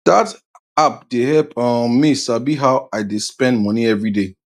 that app dey help um me sabi how i dey spend money every day